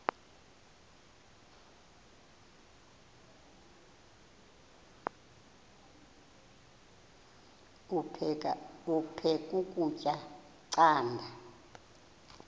aphek ukutya canda